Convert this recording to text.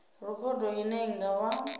rekhodo ine i nga vha